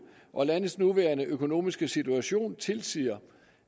og landets nuværende økonomiske situation tilsiger